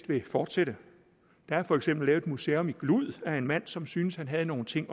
vil fortsætte der er for eksempel et museum i glud af en mand som syntes han havde nogle ting